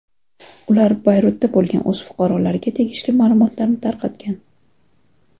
Ular Bayrutda bo‘lgan o‘z fuqarolariga tegishli ma’lumotlarni tarqatgan.